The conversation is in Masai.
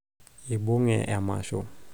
ibunge emasho